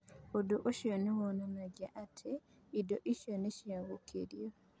Ũndũ ũcio nĩ wonanagia atĩ indo icio nĩ ciacokirio.